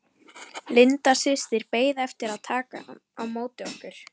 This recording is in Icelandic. Linda systir beið eftir að taka á móti okkur.